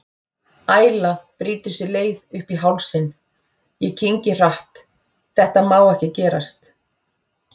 Æla brýtur sér leið upp í hálsinn, ég kyngi hratt, þetta má ekki gerast.